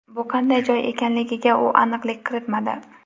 Bu qanday joy ekanligiga u aniqlik kiritmadi.